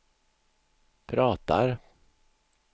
pratar